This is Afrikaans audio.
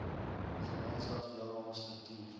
gemeenskaps deelname struktuur